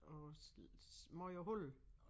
Og mange huller